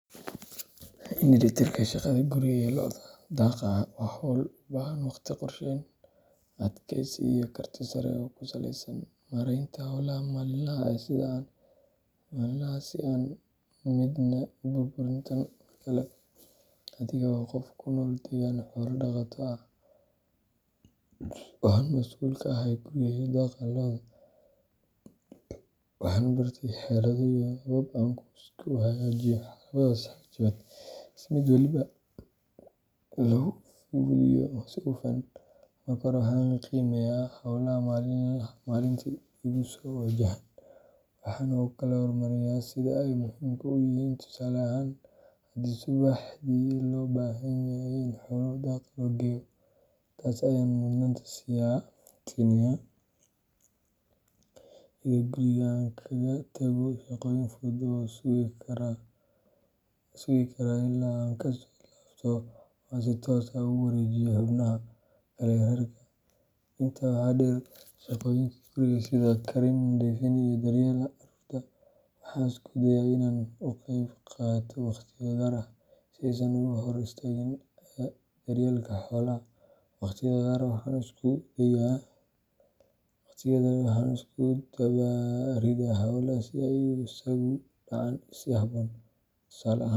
Isu dheelitirka shaqada guriga iyo lo’da daaqa waa hawl u baahan waqti qorsheysan, adkaysi, iyo karti sare oo ku saleysan maaraynta howlaha maalinlaha ah si aan midna u burburin tan kale. Aniga oo ah qof ku nool deegaan xoolo dhaqato ah oo aan mas’uul ka ahay guriga iyo daaqa lo’da, waxaan bartay xeelado iyo habab aan ku isku hagaajiyo labadaas waajibaad si mid walba loogu fuliyo si hufan. Marka hore, waxaan qiimeeyaa hawlaha maalintii igu soo wajahan, waxaana u kala hormariyaa sida ay muhiimka u yihiin, tusaale ahaan, hadii subaxdii loo baahan yahay in xoolaha daaq loo geeyo, taas ayaan mudnaanta siinayaa, iyadoo guriga aan kaga tago shaqooyinka fudud ee sugi kara ilaa aan kasoo laabto ama aan si toos ah ugu wareejiyo xubnaha kale ee reerka. Intaa waxaa dheer, shaqooyinka guriga sida karin, nadiifin, iyo daryeelka carruurta waxaan isku dayaa inaan u qeybiyo waqtiyo gaar ah, si aysan uga hor istaagin daryeelka xoolaha. Waqtiyada qaar, waxaan isku dubaridaa hawlaha si ay isugu dhacaan si habboon.